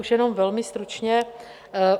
Už jenom velmi stručně.